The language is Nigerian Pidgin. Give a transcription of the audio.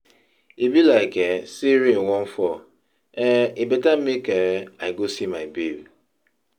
E be like um say rain wan fall, um e better make um I go see my babe.